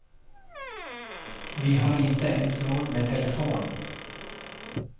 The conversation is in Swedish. Vi har inte ens råd med telefon.